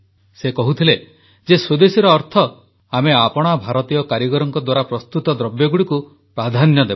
ସେ କହୁଥିଲେ ଯେ ସ୍ୱଦେଶୀର ଅର୍ଥ ଆମେ ଆପଣା ଭାରତୀୟ କାରିଗରଙ୍କ ଦ୍ୱାରା ପ୍ରସ୍ତୁତ ଦ୍ରବ୍ୟଗୁଡ଼ିକୁ ପ୍ରାଧାନ୍ୟ ଦେବା